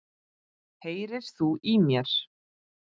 HEYRIR ÞÚ Í MÉR?!